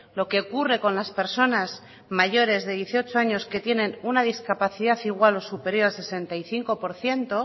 lo que ocurre con las personas mayores de dieciocho años que tienen una discapacidad igual o superior al sesenta y cinco por ciento